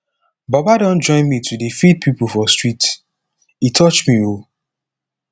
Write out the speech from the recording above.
baba don join me to dey feed pipo for street e touch me o